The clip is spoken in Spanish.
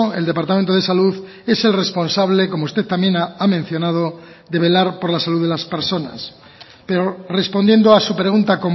el departamento de salud es el responsable como usted también ha mencionado de velar por la salud de las personas pero respondiendo a su pregunta